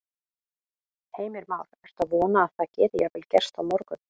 Heimir Már: Ertu að vona að það geti jafnvel gerst á morgun?